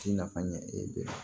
Ci nafa ɲɛ e bolo